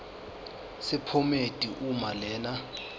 sephomedi uma lena